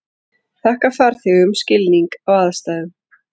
Þakka farþegum skilning á aðstæðum